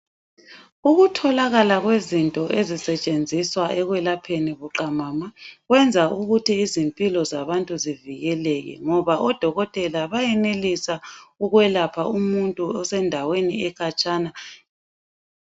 Ukutholakala kwezinto esisentshenziswa ekwelapheni buqamama, kwenza ukuthi izimpilo zabantu zivikeleke ngoba odokotela bayenelisa ukwelapha umuntu osendaweni ekhatshana.